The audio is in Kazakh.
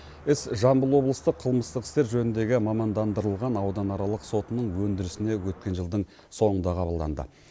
іс жамбыл облыстық қылмыстық істер жөніндегі мамандандырылған ауданаралық сотының өндірісіне өткен жылдың соңында қабылданды